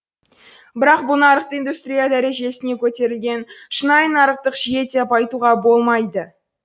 бірақ бұл нарықты индустрия дәрежесіне көтерілген шынайы нарықтық жүйе деп айтуға болмайды